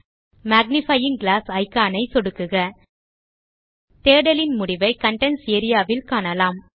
magnifying glass icon ஐ சொடுக்குக தேடலின் முடிவை கன்டென்ட்ஸ் ஏரியா வில் காணலாம்